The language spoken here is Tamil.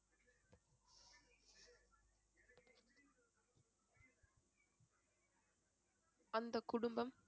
அந்தக் குடும்பம்